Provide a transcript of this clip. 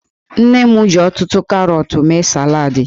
Nne m ji ọtụtụ karọtụ mee salad.